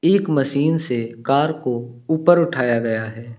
एक मशीन से कार को ऊपर उठाया गया है।